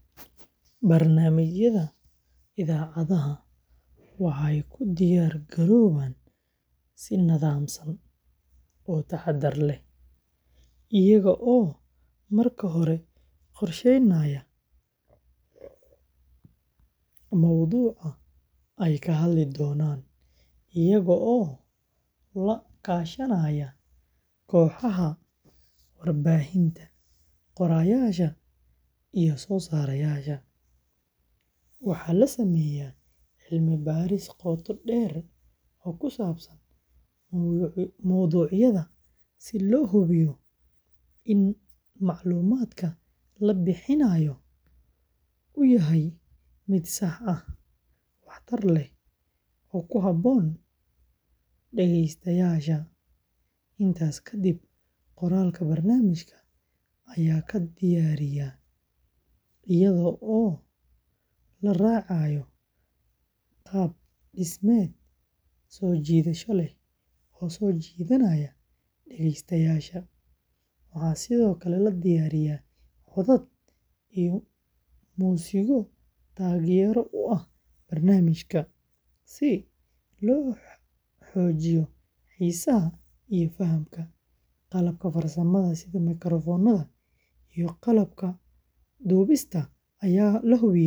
Barnaamijyada idaacadaha waxey ku diyar garowaan si nadaamsan oo tahadar leh iyaago oo marka hore qorsheynayo muwducaa eey ka hadli donan eyaaga oo la kashanaya kohaha warbahinta qoraayasha iyo sosarasha waxa la sameya cilmi bariis qota deer oo kusabsan muwducyada si lo hubiyo in maclumatka labixinayo uu yahay mid saax ah wax taar leh oo ku habon dageystaayasha intaas kadib qorarka barnamijka aya kadiiyariya iyadha oo laracayo qab dismed so jiidhasho leh dageystayasha sidhoo kale waxa la diyariya codaad iyo Music yo tageero u ah barnamijka si logoogiyo xiisaha iyo faahank qalabka farsamaha makaraqonada iyo qalabka dubista aya la hubiye.